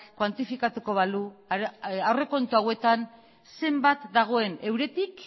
kuantifikatuko balu aurrekontu hauetan zenbat dagoen euretik